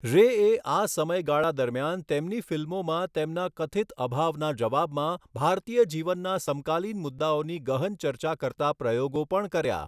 રેએ આ સમયગાળા દરમિયાન તેમની ફિલ્મોમાં તેમના કથિત અભાવના જવાબમાં ભારતીય જીવનના સમકાલીન મુદ્દાઓની ગહન ચર્ચા કરતા પ્રયોગો પણ કર્યા.